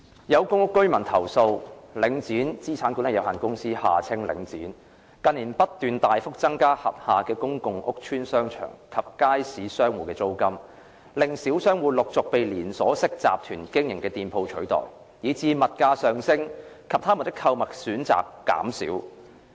有公屋居民投訴，領展資產管理有限公司近年不斷大幅增加轄下公共屋邨商場及街市商戶的租金，令小商戶陸續被連鎖式集團經營的店鋪取代，以致物價上升及他們的購物選擇減少。